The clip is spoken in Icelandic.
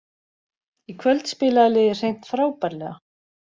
Í kvöld spilaði liðið hreint frábærlega